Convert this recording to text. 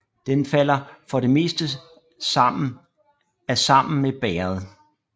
Den falder for det meste af sammen med bægeret